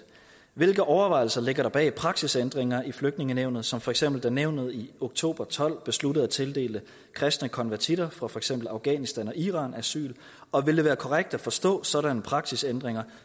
hvilke overvejelser ligger der bag praksisændringer i flygtningenævnet som for eksempel da nævnet i oktober tolv besluttede at tildele kristne konvertitter fra for eksempel afghanistan og iran asyl og ville det være korrekt at forstå sådanne praksisændringer